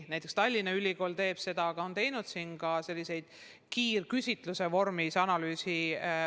Näiteks Tallinna Ülikool on teinud selliseid kiirküsitluse vormis analüüse.